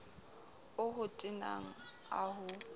o ho tenang a ho